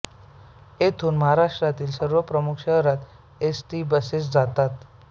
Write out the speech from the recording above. येथून महाराष्ट्रातील सर्व प्रमुख शहरात एसटी बसेस जातात